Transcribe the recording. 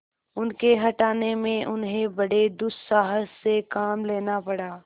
उनके हटाने में उन्हें बड़े दुस्साहस से काम लेना पड़ा